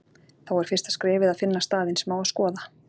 Þá er fyrsta skrefið að finna staðinn sem á að skoða.